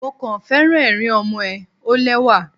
Mo kàn féràn ẹ̀rín ọmọ ẹ, ó lẹ́wà.